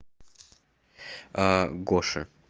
гоше